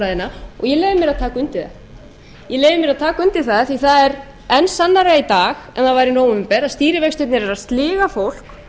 taka undir það ég leyfi mér að taka undir það því að það er enn sannara í dag en var í nóvember að stýrivextirnir eru að sliga fólk